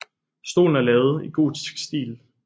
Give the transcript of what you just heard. Stolen er lavet i gotisk stil